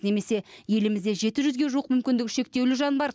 немесе елімізде жеті жүзге жуық мүмкіндігі шектеулі жан бар